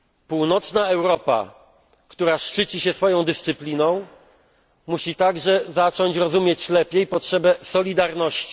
Północna Europa, która szczyci się swoją dyscypliną, musi także zacząć rozumieć lepiej potrzebę solidarności.